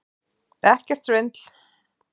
Ekkert svindl!